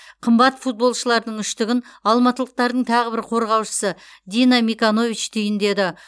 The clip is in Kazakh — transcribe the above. қымбат футболшылардың үштігін алматылықтардың тағы бір қорғаушысы дино миканович түйіндеді